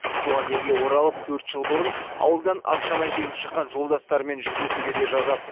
туған елге оралып төрт жыл бұрын ауылдан ат шана жегіп шыққан жолдастарымен жүздесуге де жазады